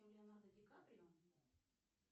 леонардо ди каприо